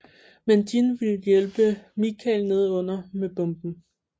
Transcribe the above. Men Jin vil hjælpe Michael nedenunder med bomben